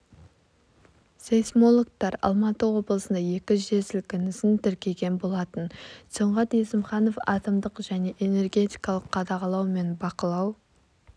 сейсмологтар алматы облысында екі жер сілкінісін тіркеген болатын сұңғат есімханов атомдық және энергетикалық қадағалау мен бақылау